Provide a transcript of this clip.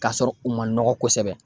K'a sɔrɔ u ma nɔgɔ kosɛbɛ